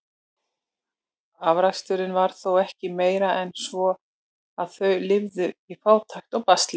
Afraksturinn var þó ekki meiri en svo, að þau lifðu í fátækt og basli.